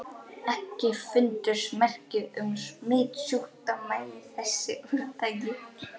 EKKI FUNDUST MERKI UM SMITSJÚKDÓMA Í ÞESSU ÚRTAKI.